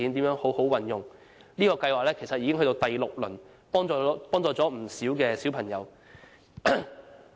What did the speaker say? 這個計劃已屆第六輪，幫助了不少小朋友。